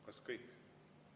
Kas kõik?